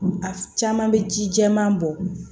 A caman bɛ ji jɛman bɔ